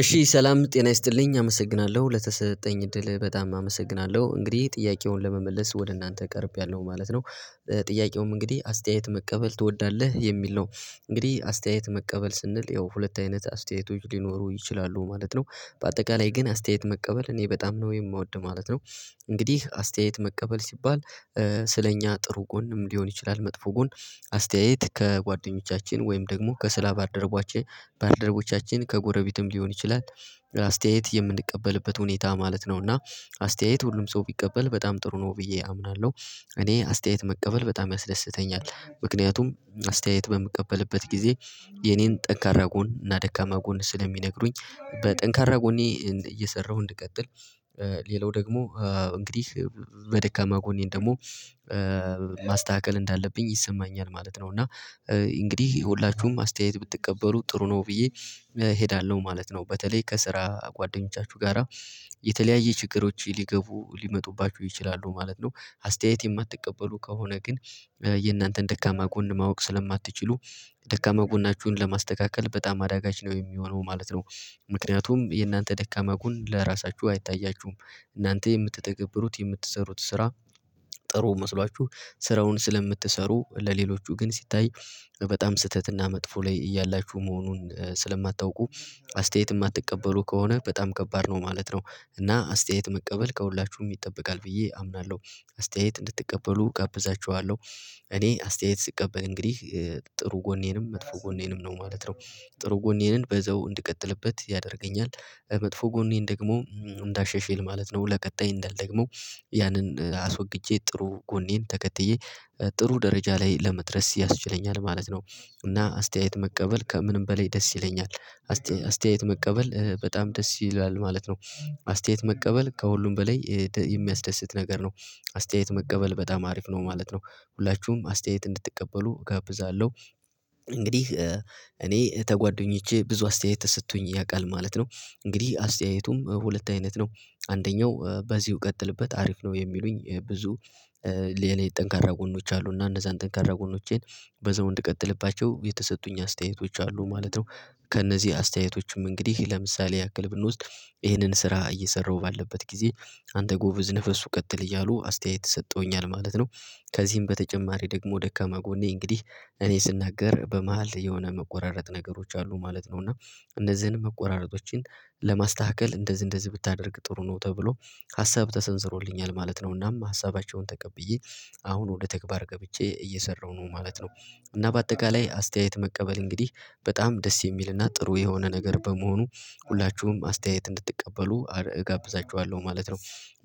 እሺ ሰላም ጤና ይስጥልኝ አመሰግናለሁ ለተሰጠኝ እድል በጣም አመሰግናለሁ እንግዲህ ጥያቄውን ለመመለስ ወደ እናንተ ቀርቤያለሁ ማለት ነው። ጥያቄውም እንግዲህ አስተያየት መቀበል ትወዳለህ የሚል ነው። እንግዲህ አስተያየት መቀበል ስንል ያው ሁለት አይነት አስተያየቶች ሊኖሩ ይችላሉ ማለት ነው። በአጠቃላይ ግን አስተያየት መቀበል እኔ በጣም ነው የምወድ ማለት ነው። እንግዲህ አስተያየት መቀበል ሲባል ስለኛ ጥሩ ጎንም ሊሆን ይችላል መጥፎ ጎን አስተያየት ከጓደኞቻችን ወይም ደግሞ ከስራ ባልደረቦቼ ባልደረቦቻችን ከጎረቤትም ሊሆን ይችላል። አስተያየት የምንቀበልበት ሁኔታ ማለት ነው እና አስተያየት ሁሉም ሰው ቢቀበል በጣም ጥሩ ነው ብዬ አምናለሁ። እኔ አስተያየት መቀበል በጣም ያስደስተኛል ምክንያቱም አስተያየት በምቀበልበት ጊዜ የኔን ጠንካራ ጎን እና ደካማ ጎን ስለሚነግሩኝ በጠንካራ ጎኔ እየሰራሁ እንድቀጥል ቀጥል ሌላው ደግሞ እንግዲህ በደካማ ጎኔን ደግሞ ማስተካከል እንዳለብኝ ይሰማኛል ማለት ነው እና እንግዲህ የሁውላችሁም አስተያየት ብትቀበሉ ጥሩ ነው ብዬ እሄዳለሁ ማለት ነው። በተለይ ከስራ ጓደኞቻችሁ ጋራ የተለያየ ችግሮች ሊገቡ ሊመጡባችሁ ይችላሉ ማለት ነው አስተያየት የማትቀበሉ ከሆነ ግን የእናንተን ደካማ ጎን ማወቅ ስለማትችሉ ደካማ ጎናችሁን ለማስተካከል በጣም አዳጋች ነው የሚሆነው ማለት ነው። ምክንያቱም የእናንተ ደካማ ጎን ለራሳችሁ አይታያችሁም እናንተ የምትተገብሩት የምትሰሩት ስራ ጥሩ መስሏችሁ ስራውን ስለምትሰሩ ለሌሎቹ ግን ሲታይ በጣም ስህተት እና መጥፎ ላይ እያላችሁ መሆኑን ስለማታውቁ አስተያየት የማትቀበሉ ከሆነ በጣም ከባድ ነው ማለት ነው። እና አስተያየት መቀበል ከሁላችሁም ይጠበቃል ብዬ አምናለሁ። አስተያየት እንድትቀበሉ እጋብዛችኋለሁ እኔ አስተያየት ስቀበል እንግዲህ ጥሩ ጎኔንም መጥፎ ጎኔንም ነው ማለት ነው። ጥሩ ጎኔንን በዛው እንድቀጥልበት ያደርገኛል መጥፎ ጎኔን ደግሞ እንዲሻሻል ማለት ነው ለቀጣይ እንዳልደግመው ያንን አስወግጄ ጥሩ ጎኔን ተከትዬ ጥሩ ደረጃ ላይ ለመድረስ ያስችለኛል ማለት ነው። እና አስተያየት መቀበል ከምንም በላይ ደስ ይለኛል አስተያየት መቀበል በጣም ደስ ይላል ማለት ነው አስተያየት መቀበል ከሁሉም በላይ የሚያስደስት ነገር ነው አስተያየት መቀበል በጣም አሪፍ ነው ማለት ነው ሁላችሁም አስተያየት እንድትቀበሉ እጋብዛለሁ። እንግዲህ እኔ ከጓዶኞቼ ብዙ አስተያየት ተሰጥቶኝ ያውቃል ማለት ነው እንግዲህ አስተያየቱም ሁለት አይነት ነው አንደኛው በዚሁ ቀጥልበት አሪፍ ነው የሚሉኝ ብዙ ለእኔ ጠንካራ ጎኖች አሉ እና እንደዛ ጠንካራ ጎኖቼን በዘው እንድትቀጥልባቸው የተሰጡኝ አስተያየቶች አሉ ማለት ነው። ከእነዚህ አስተያየቶችም እንግዲህ ለምሳሌ ያክል ብንወስድ ይህንን ስራ እየሰራሁ ባለሁበት ጊዜ አንተ ጎበዝ ነፍሱ ቀጥል እያሉ አስተያየት ሰጠውኛል ማለት ነው። ከዚህም በተጨማሪ ደግሞ ደካማ ጎኔ እንግዲህ እኔ ስናገር በመሃል የሆነ መቆራረጥ ነገሮች አሉ ማለት ነው እና እነዚህን መቆራረጦችን ለማስተካከል እንደዚህ እንደዚህ ብታደርግ ጥሩ ነው ተብሎ ሀሳብ ተሰንዝሮልኛል ማለት ነው እናም ሀሳባቸውን ተቀብዬ አሁን ወደ ተግባር ገብቼ እየሰራሁ ነው ማለት ነው። እና በአጠቃላይ አስተያየት መቀበል እንግዲህ በጣም ደስ የሚልና ጥሩ የሆነ ነገር በመሆኑ ሁላችሁም አስተያየት እንድትቀበሉ አረ እጋብዛችኋለሁ ማለት ነው።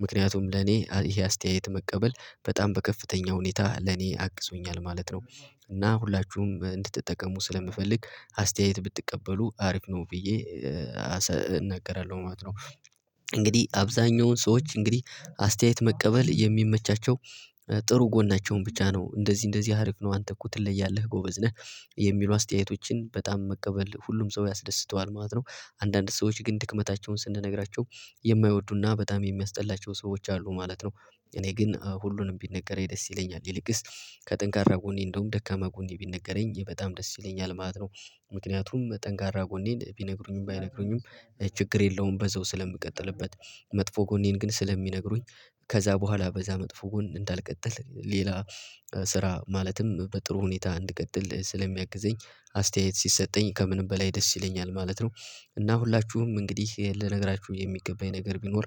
ምክንያቱም ለኔ ይሄ አስተያየት መቀበል በጣም በከፍተኛ ሁኔታ ለኔ አግዞኛል ማለት ነው። እና ሁላችሁም እንድትጠቀሙ ስለምፈልግ አስተያየት ብትቀበሉ አሪፍ ነው ብዬ እናገራለሁ ማለት ነው። እንግዲህ አብዛኛውን ሰዎች እንግዲህ አስተያየት መቀበል የሚመቻቸው ጥሩ ጎናቸውን ብቻ ነው እንደዚህ እንደዚህ ሀሪፍ ነው አንተ እኮ ትለያለህ ጎበዝ ነህ የሚሉ አስተያየቶችን በጣም መቀበል ሁሉም ሰው ያስደስተዋል ማለት ነው። አንዳንድ ሰዎች ግን ድክመታቸውን ስንነግራቸው የማይወዱና በጣም የሚያስጠላቸው ሰዎች አሉ ማለት ነው። እኔ ግን ሁሉንም ቢነገረኝ ደስ ይለኛል ይልቅስ ከጥንካሬ ጎኔ እንደውም ደካማ ጎኔ ቢነገረኝ በጣም ደስ ይለኛል ማለት ነው። ምክንያቱም ጠንካራ ጎኔን ቢነግሩኝም ባይነግሩኝም ችግር የለውም በዛው ስለምቀጥልበት መጥፎ ጎኔን ግን ስለሚነግሩኝ ከዛ በኋላ በዛ መጥፎ ጎን እንዳልቀጥል ሌላ ስራ ማለትም በጥሩ ሁኔታ እንድቀጥል ስለሚያግዘኝ አስተያየት ሲሰጠኝ ከምንም በላይ ደስ ይለኛል ማለት ነው። እና ሁላችሁም እንግዲህ ልነግራችሁ የሚገባኝ ነገር ቢኖር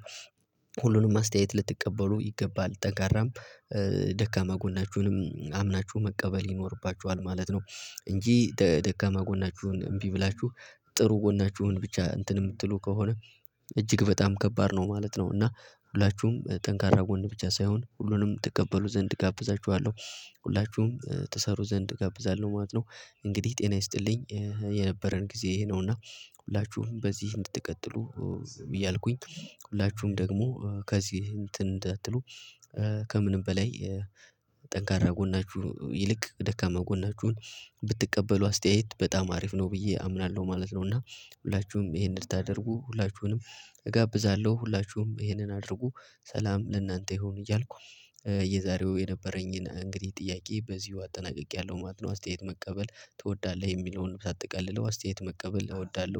ሁሉንም አስተያየት ልትቀበሉ ይገባል ጠንካራም ደካማ ጎናችሁንም አምናችሁ መቀበል ይኖርባችኋል ማለት ነው። እንጂ ደካማ ጎናችሁን እምቢ ብላችሁ ጥሩ ጎናችሁን ብቻ እንትን የምትሉ ከሆነ እጅግ በጣም ከባድ ነው ማለት ነው እና ሁላችሁም ጠንካራ ጎን ብቻ ሳይሆን ሁሉንም ትቀበሉ ዘንድ እጋብዛችኋለሁ። ሁላችሁም ትሰሩ ዘንድ እጋብዛለሁ ማለት ነው። እንግዲህ ጤና ይስጥልኝ የነበረን ጊዜ ይሄ ነውና ሁላችሁም በዚህ እንድትቀጥሉ እያልኩኝ ሁላችሁም ደግሞ ከዚህ እንትን እንዳትሉ ከምንም በላይ ጠንካራ ጎናችሁ ይልቅ ደካማ ጎናችሁን ብትቀበሉ አስተያየት በጣም አሪፍ ነው ብዬ አምናለሁ ማለት ነው። እና ሁላችሁም ይሄንን እንድታደርጉ ሁላችሁንም እጋብዛለሁ ሁላችሁም ይሄንን አድርጉ ሰላም ለእናንተ ይሁን እያልኩ የዛሬው የነበረኝን እንግዲህ ጥያቄ በዚሁ አጠናቅቄያለሁ ማለት ነው። ኣስተያየት መቀበል ትወዳለህ የሚለውን ሳጠቃልለው አስተያየት መቀበል እወዳለሁ